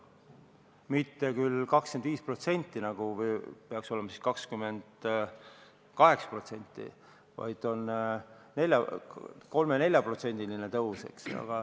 Mitte küll 25%, nagu siis peaks olema, või 28%, vaid on 3–4%-line tõus.